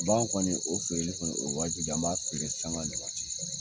Bagan kɔni o feereli kɔni o ye wajibi an b'a feere sanga ni waati